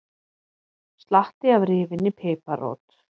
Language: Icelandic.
Slatti af rifinni piparrót